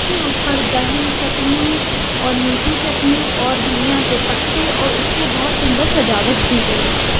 ऊपर दही चटनी और मीठी चटनी और धनिया के पत्ते और उससे बहोत सुन्दर सजावट की गई है।